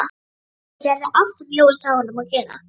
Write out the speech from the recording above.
Siggi gerði allt sem Jói sagði honum að gera.